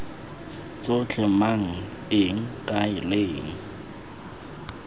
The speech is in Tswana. tsotlhe mang eng kae leng